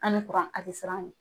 Ani kuran a tɛ siran a ɲɛ.